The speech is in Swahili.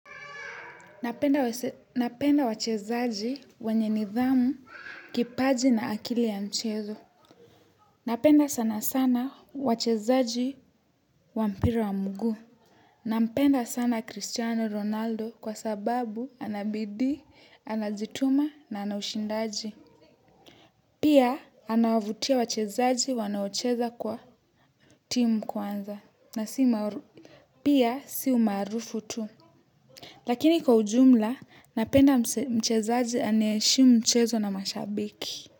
Napenda wachezaji wenye nidhamu, kipaji na akili ya mchezo. Napenda sanasana wachezaji wa mpira wa mguu napenda sana Cristiano Ronaldo kwa sababu anabidii, anajituma na anaushindaji. Pia anawavutia wachezaji wanaocheza kwa timu kwanza. Pia si umaarufu tu. Lakini kwa ujumla, napenda mchezaji anae heshimu mchezo na mashabiki.